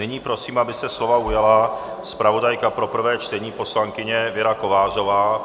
Nyní prosím, aby se slova ujala zpravodajka pro prvé čtení poslankyně Věra Kovářová.